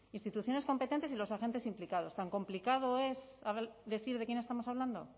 instituciones competentes y los agentes implicados tan complicado es decir de quién estamos hablando